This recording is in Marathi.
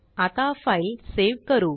आता फाईल सेव करू